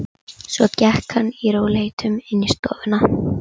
Svo gekk hann í rólegheitum inn í stofuna.